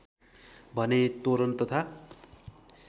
भने तोरण तथा